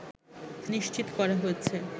নিশ্চিত করা হয়েছে